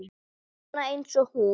Svona eins og hún?